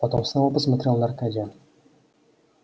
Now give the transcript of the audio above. потом снова посмотрел на аркадия